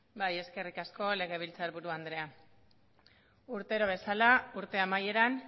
bai eskerrik asko legebiltzarburu andrea urtero bezala urte amaieran